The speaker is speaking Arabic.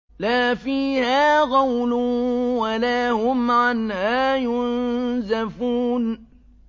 لَا فِيهَا غَوْلٌ وَلَا هُمْ عَنْهَا يُنزَفُونَ